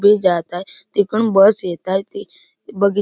जात आहे तिकडून बस येत आहे ती बगी--